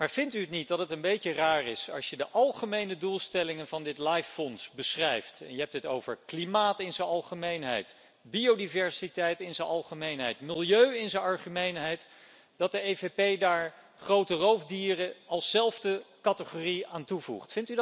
Maar vindt u niet dat het een beetje raar is als je de algemene doelstellingen van dit LIFE fonds beschrijft je hebt het over klimaat in z'n algemeenheid, biodiversiteit in z'n algemeenheid, milieu in z'n algemeenheid dat de EVP daar grote roofdieren als zelfde categorie aan toevoegt?